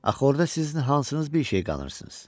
Axı orda sizin hansınız bir şey qanırsınız?